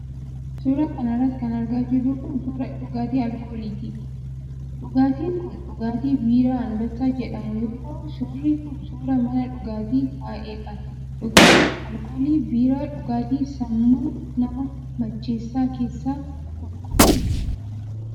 Suura kana irratti kan argaa jirru kun ,suura dhugaatii alooliiti. Dhugaatiin kun dhugaatii biiraa Anbassaa jedhamu yoo ta'u, suurri kun suura mana dhugaatitti ka'eedha. Dhugaatiin alkoolii biiraa dhugaatii sammuu namaa macheessa keessaa tokko.